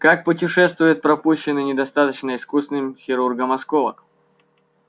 как путешествует пропущенный недостаточно искусным хирургом осколок